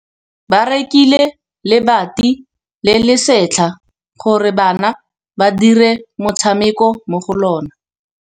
Ba rekile lebati le le setlha gore bana ba dire motshameko mo go lona.